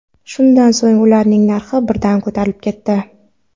Shundan so‘ng ularning narxi birdan ko‘tarilib ketdi.